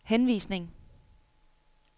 henvisning